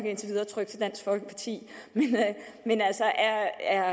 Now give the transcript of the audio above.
indtil videre trygt til dansk folkeparti men er herre